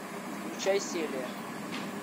включай селия